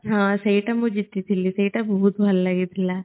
ହଁ ସେଇଟା ମୁଁ ଜିତି ଥିଲି ସେଇଟା ବହୁତ ଭଲ ଲାଗି ଥିଲା